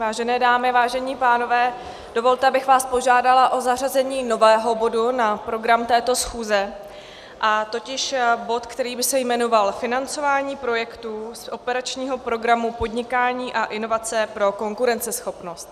Vážené dámy, vážení pánové, dovolte, abych vás požádala o zařazení nového bodu na program této schůze, totiž bod, který by se jmenoval Financování projektů z operačního programu Podnikání a inovace pro konkurenceschopnost.